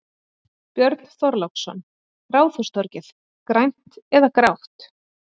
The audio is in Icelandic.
Björn Þorláksson: Ráðhústorgið, grænt eða grátt?